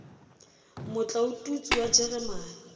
motla o tutswe wa jeremane